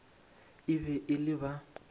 e be e le ba